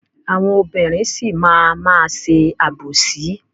Àwọn obìnrin sì máa má ṣe àbòsí.